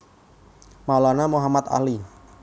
Maulana Muhammad Ali